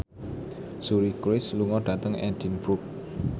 Suri Cruise lunga dhateng Edinburgh